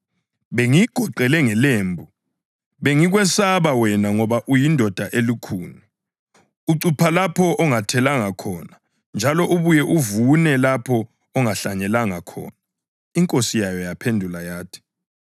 Bengikwesaba wena ngoba uyindoda elukhuni. Ucupha lapho ongathelanga khona njalo ubuye uvune lapho ongahlanyelanga khona.’